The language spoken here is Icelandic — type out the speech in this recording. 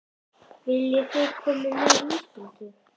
Viljiði koma með í ísbíltúr?